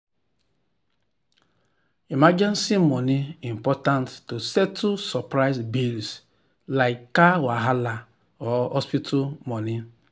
emergency money important to settle surprise bills like car wahala or hospital money.